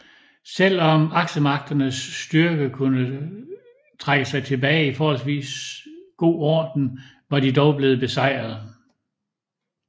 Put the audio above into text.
Selv om aksemagternes styrke kunne trække sig tilbage i forholdsvis god orden var de dog blevet besejret